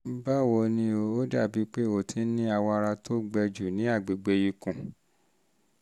báwo ni o? ó dàbí pé o ti ní awọ ara tó gbẹ jù ní agbègbè ikùn